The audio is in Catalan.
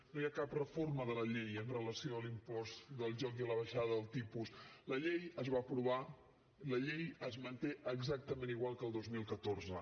no hi ha cap reforma de la llei amb relació a l’impost del joc i a la baixada del tipus la llei es va aprovar i la llei es manté exactament igual que el dos mil catorze